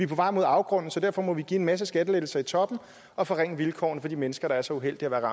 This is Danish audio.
på vej mod afgrunden så vi derfor må give en masse skattelettelser i toppen og forringe vilkårene for de mennesker der er så uheldige